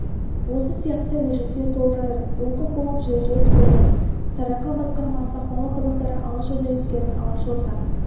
осы сияқты өжеттіктер толып жатыр оқып болып жерге түкірдім сарыарқа басқармасы ақмола қазақтары алашорда әскерін алашорда